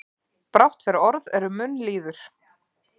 Brátt fer orð er um munn líður.